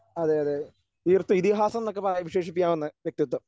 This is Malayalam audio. അതെ അതെ ഇതിഹാസം എന്നൊക്കെ പ വിശേഷിപ്പിക്കാവുന്ന വ്യക്തിത്വം.